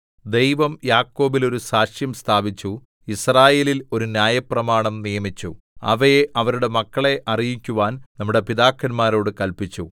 ദൈവം യാക്കോബിൽ ഒരു സാക്ഷ്യം സ്ഥാപിച്ചു യിസ്രായേലിൽ ഒരു ന്യായപ്രമാണം നിയമിച്ചു അവയെ അവരുടെ മക്കളെ അറിയിക്കുവാൻ നമ്മുടെ പിതാക്കന്മാരോട് കല്പിച്ചു